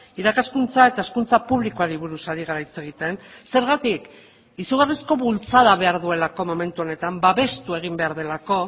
irakaskuntza eta hezkuntza publikoari buruz ari gara hitz egiten zergatik izugarrizko bultzada behar duelako momentu honetan babestu egin behar delako